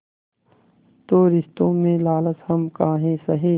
तो रिश्तों में लालच हम काहे सहे